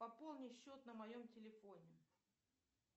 пополни счет на моем телефоне